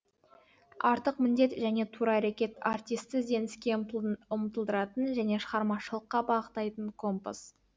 артық міндет және тура әрекет артисті ізденіске ұмтылдыратын және шығармашылыққа бағыттайтын компас